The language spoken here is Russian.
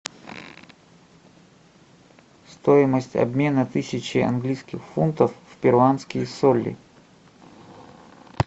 стоимость обмена тысячи английских фунтов в перуанские соли